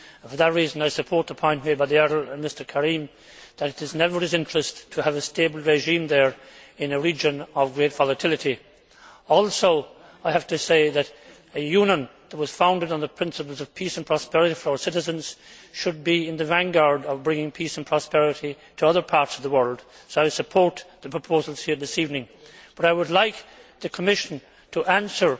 For that reason, I support the point made by Mr Karim, that it is in everybody's interest to have a stable regime there in a region of great volatility. I also have to say that a Union which was founded on the principles of peace and prosperity for our citizens should be in the vanguard of bringing peace and prosperity to other parts of the world, so I support the proposals here this evening, but I would like the Commission to answer